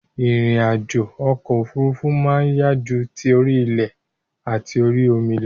Ìrìn àjò okò òfurufú ma n yá ju ti orí ilè àti orí omi lo